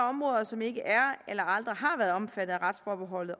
områder som ikke er eller aldrig har været omfattet af retsforbeholdet